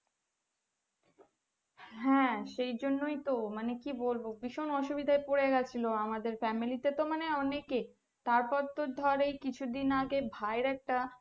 হ্যাঁ সেই জন্যই তো মানে কি বলবো ভীষণ অসুবিধা পড়েগেছিলো আমাদের family তে তো অনেকেই তারপর তো ধর এই কিছু দিন আগে ভাই এর একটা